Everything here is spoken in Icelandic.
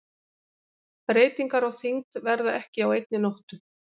Breytingar á þyngd verða ekki á einni nóttu.